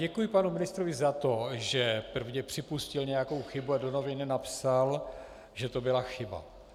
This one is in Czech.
Děkuji panu ministrovi za to, že prvně připustil nějakou chybu a do novin napsal, že to byla chyba.